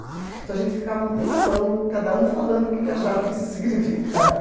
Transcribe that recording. Então a gente ficava um tempão, cada um falando o que que achava que isso significava.